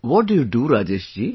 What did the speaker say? What do you do Rajesh ji